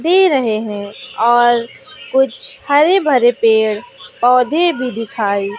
दे रहे है और कुछ हरे भरे पेड़ पौधे भी दिखाई--